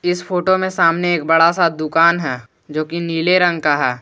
इस फोटो में सामने एक बड़ा सा दुकान है जो की नीले रंग का है।